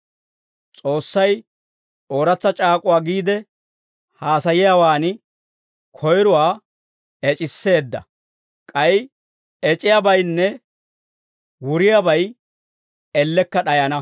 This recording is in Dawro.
S'oossay ooratsa c'aak'uwaa giide haasayiyaawan koyrowaa ec'iseedda; k'ay ec'iyaabaynne wuriyaabay ellekka d'ayana.